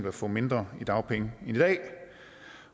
at få mindre i dagpenge end i dag